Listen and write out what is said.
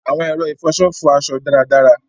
Awọn ẹrọ ifọṣọ fọ aṣọ daradara